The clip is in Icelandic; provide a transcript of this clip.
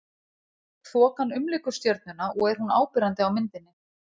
Þokan umlykur stjörnuna og er hún áberandi á myndinni.